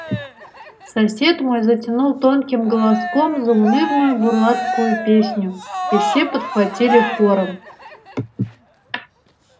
сосед мой затянул тонким голоском заунывную бурлацкую песню и все подхватили хором